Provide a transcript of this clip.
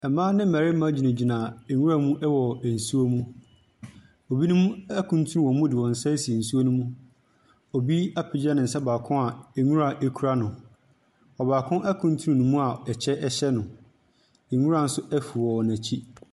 Mmaa ne mmarima gyinagyina nwuram wɔ nsuom. Ebinom akuntunu wɔn mu de wɔn nsa asi nsuo nom. Obi apagya ne nsa a nwura kura no. Ɔbaako akuntunu ne mu a ɛkyɛ hyɛ no. nwura nso afu wɔ n'akyi.